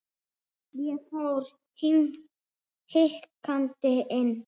Ég fór hikandi inn.